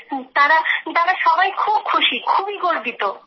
তাঁরা সবাই খুব খুশি খুবই গর্বিত